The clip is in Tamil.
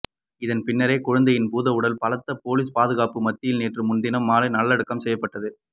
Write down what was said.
இதன் பின்னரே குழந்தையின் பூதவுடல் பலத்த பொலிஸ் பாதுகாப்புக்கு மத்தியில் நேற்று முன்தினம் மாலை நல்லடக்கம் செய்யப்பட்டது